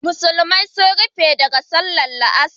Musulmai sun rufe daga sallar la'asar